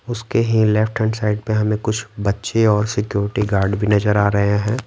उसके लेफ्ट ही hand side पे हमें कुछ बच्चे और सिक्योरिटी गार्ड भी नजर आ रहे हैं।